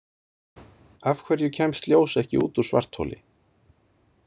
Af hverju kemst ljós ekki út úr svartholi?